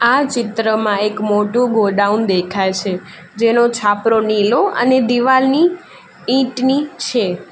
આ ચિત્રમાં એક મોટું ગોડાઉન દેખાય છે જેનો છાપરો નીલો અને દિવાલની ઈંટની છે.